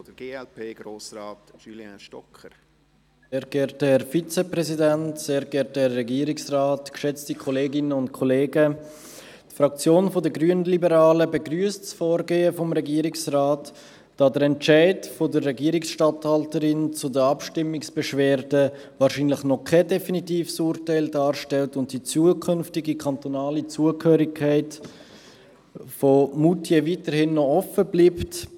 Die Fraktion der Grünliberalen begrüsst das Vorgehen des Regierungsrates, da der Entscheid der Regierungsstadthalterin zur Abstimmungsbeschwerde wahrscheinlich noch kein definitives Urteil darstellt und die zukünftige kantonale Zugehörigkeit von Moutier weiterhin offen bleibt.